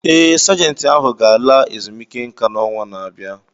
Ee, Sajentị ahụ ga-ala ezumike nka n’ọnwa na-abịa